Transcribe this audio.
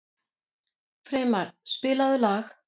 Freymar, spilaðu lag.